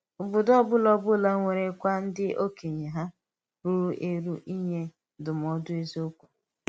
Ọ̀bòdò ọ́bụ̀la ọ́bụ̀la nwèrèkwà ndí òkènye um rùrù èrù ínye ndúmòdù èzíòkwú.